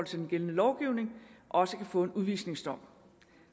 til den gældende lovgivning også kan få en udvisningsdom